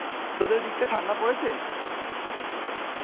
তোদের ওদিকটায় ঠান্ডা পরেছে?